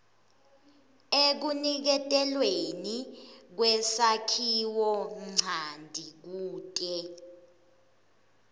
ekuniketelweni kwesakhiwonchanti kute